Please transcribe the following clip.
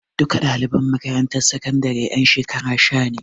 Duka ɗaliban makarantar sakandaren ƴan shekara sha ne.